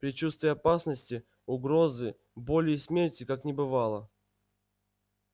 предчувствия опасности угрозы боли и смерти как не бывало